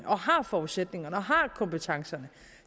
har forudsætningerne og har kompetencerne